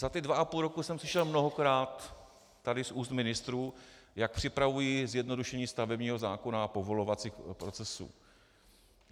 Za ty dva a půl roku jsem slyšel mnohokrát tady z úst ministrů, jak připravují zjednodušení stavebního zákona a povolovacích procesů.